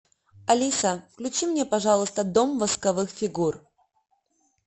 алиса включи мне пожалуйста дом восковых фигур